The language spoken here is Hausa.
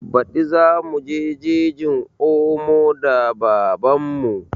Baɗi za muje jejin omo da baban mu